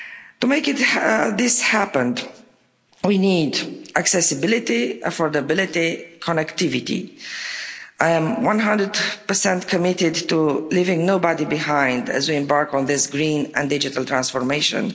To make this happen, we need accessibility, affordability, connectivity. I am 100 committed to leaving nobody behind as we embark on this green and digital transformation.